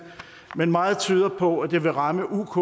men meget tyder på at det vil ramme uk